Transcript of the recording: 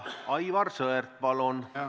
Aivar Sõerd, palun!